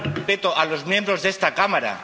respeto a los miembros de esta Cámara.